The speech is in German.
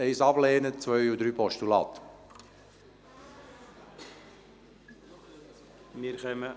Ziffer 1 ablehnen, Ziffern 2 und 3 als Postulat annehmen.